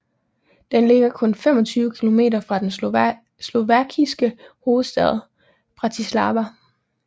Den ligger kun 25 kilometer fra den slovakiske hovedstad Bratislava